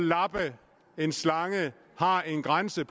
lappe en slange har en grænse